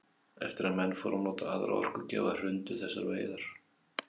Eftir að menn fóru að nota aðra orkugjafa hrundu þessar veiðar.